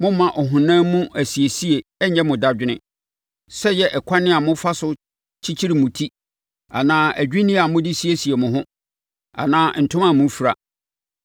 Mommma ɔhonam mu asiesie nnyɛ mo dadwene; sɛ ɛyɛ ɛkwan a mofa so kyekyere mo ti, anaa adwinneɛ a mode siesie mo ho, anaa ntoma a mofira.